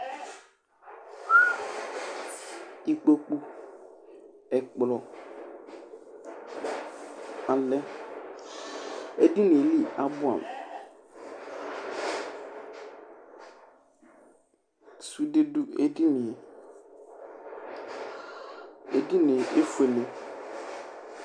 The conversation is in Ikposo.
ikpokpu ɛkplɔ ɔlɛ édini li abuamu sudé du édinié édinié éfuéle